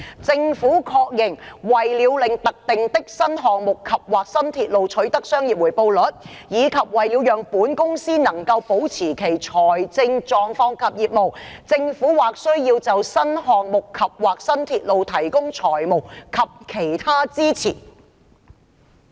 政府確認，為了令特定的新項目及/或新鐵路取得商業回報率，以及為了讓本公司能夠保持其財政狀況及業務，政府或需要就該等新項目及/或新鐵路提供財務及其他支持。